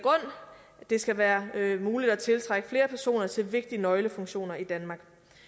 det skal være muligt at tiltrække flere personer til vigtige nøglefunktioner i danmark